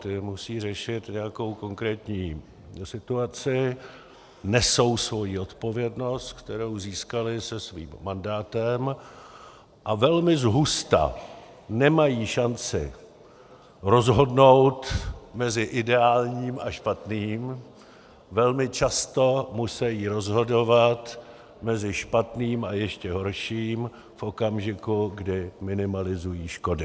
Ti musí řešit nějakou konkrétní situaci, nesou svoji odpovědnost, kterou získali se svým mandátem, a velmi zhusta nemají šanci rozhodnout mezi ideálním a špatným, velmi často musejí rozhodovat mezi špatným a ještě horším v okamžiku, kdy minimalizují škody.